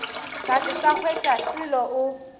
ka se sa hwetšaselo o